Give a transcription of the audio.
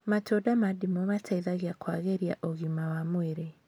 Matunda ma ndimũ mateithagia kũagĩria ũgima wa mwĩrĩ